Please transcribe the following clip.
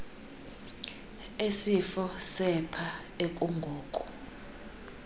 esifo sepha ekungoku